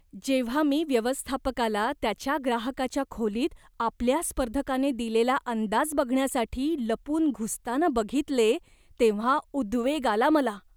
जेव्हा मी व्यवस्थापकाला त्याच्या ग्राहकाच्या खोलीत आपल्या स्पर्धकाने दिलेला अंदाज बघण्यासाठी लपून घुसताना बघितले तेव्हा उद्वेग आला मला.